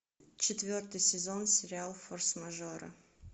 четвертый сезон сериал форс мажоры